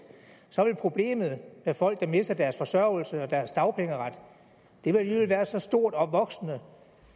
så vil problemet med folk der mister deres forsørgelse og deres dagpengeret alligevel være så stort og voksende